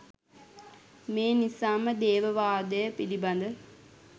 මේ නිසා ම දේව වාදය පිළිබඳ